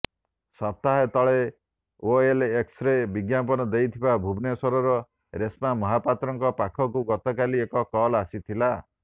ସପ୍ତାହେ ତଳେ ଓଏଲ୍ଏକ୍ସରେ ବିଜ୍ଞାପନ ଦେଇଥିବା ଭୁବନେଶ୍ୱରର ରେଶ୍ମା ମହାପାତ୍ରଙ୍କ ପାଖକୁ ଗତକାଲି ଏକ କଲ୍ ଆସିଥିଲା